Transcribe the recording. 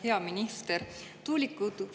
Hea minister!